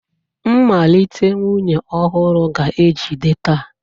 Mmalite nwunye ọhụrụ ga-ejide taa.